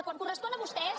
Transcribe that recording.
quan cor·respon a vostès